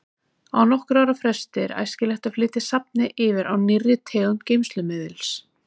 Á nokkurra ára fresti er æskilegt að flytja safnið yfir á nýrri tegund geymslumiðils.